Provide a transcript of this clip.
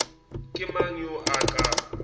ke mang yo a ka